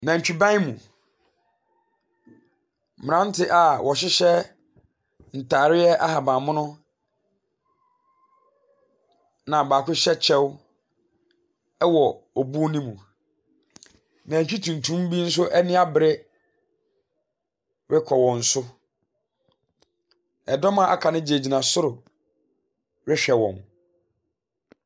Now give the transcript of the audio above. Nantwiban mu, mmeranteɛ a wɔhyehyɛ ntare ahabammono, na baako hyɛ kyɛw wɔ obuo no mu. Nantwi tuntum bi nso anio abere rekɔ wɔn so. Ɛdɔm a wɔaka no gyinagyina soro rehwɛ wɔn.